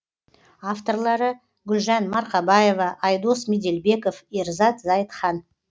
авторлары гүлжан марқабаева айдос меделбеков ерзат зайытхан